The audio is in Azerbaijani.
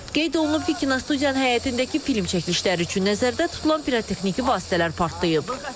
Qeyd olunub ki, kinostudiyanın həyətindəki film çəkilişləri üçün nəzərdə tutulan pirotexniki vasitələr partlayıb.